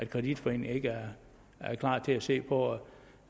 kreditforeningen ikke er klar til at se på